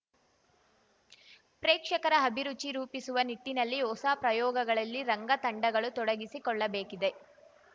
ಪ್ರೇಕ್ಷಕರ ಅಭಿರುಚಿ ರೂಪಿಸುವ ನಿಟ್ಟಿನಲ್ಲಿ ಹೊಸ ಪ್ರಯೋಗಗಳಲ್ಲಿ ರಂಗ ತಂಡಗಳು ತೊಡಗಿಸಿ ಕೊಳ್ಳಬೇಕಿದೆ